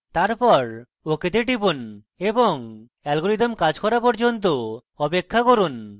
তারপর ok তে টিপুন এবং অ্যালগরিদম কাজ করা পর্যন্ত অপেক্ষা করুন